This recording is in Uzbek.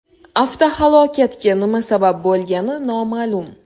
Avtohalokatga nima sabab bo‘lgani noma’lum.